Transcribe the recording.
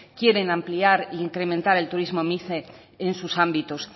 quieren ampliar e incrementar el turismo mice en sus ámbitos